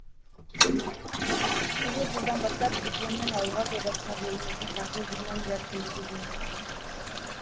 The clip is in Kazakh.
келер жылдан бастап дипломмен ауылға жобасына бөлінетін қаржы жиырма миллиард теңгеге дейін өспек